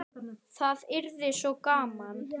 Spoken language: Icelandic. Það yrði svo gaman.